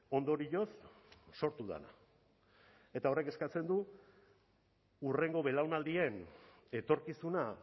ondorioz sortu dena eta horrek eskatzen du hurrengo belaunaldien etorkizuna